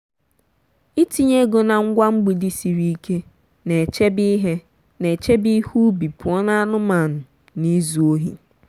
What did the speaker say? itinye ego na ngwa mgbidi siri ike na-echebe ihe na-echebe ihe ubi pụọ na anụmanụ na izu ohi.